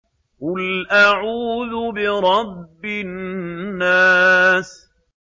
قُلْ أَعُوذُ بِرَبِّ النَّاسِ